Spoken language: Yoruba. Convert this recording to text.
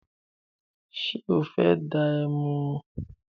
Ṣé o fẹ́ dá ẹmu?